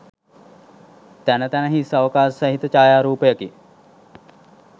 තැන තැන හිස් අවකාශ සහිත ඡායාරූපයකි.